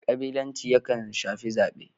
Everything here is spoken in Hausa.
Kabilanci yakan shafi zabe.